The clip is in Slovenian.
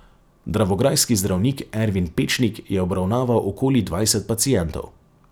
Dravograjski zdravnik Ervin Pečnik je obravnaval okoli dvajset pacientov.